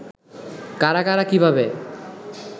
কারা কারা কিভাবে